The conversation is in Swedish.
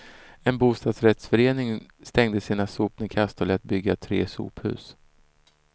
En bostadsrättsförening stängde sina sopnedkast och lät bygga tre sophus.